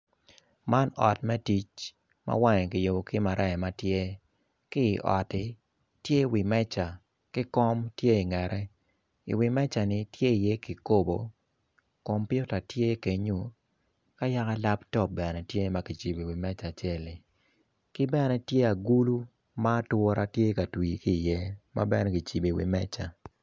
Man ot me tic, ma wange kiyubo ki maraya ki otti tye iye meca ki kom tye i ngete i wi meca ni tye i ye kikopo, kompiuta tye bene kenyo ka yaka laptop bene tye makicibo i wi meca acelli ki bene tye agulu ma atura tye ka twir ki i ye mabene kicibo i meca.